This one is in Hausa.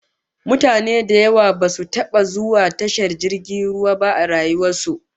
Mutane da yawa basu taba zuwa tashar jirgin ruwa ba a rayuwar su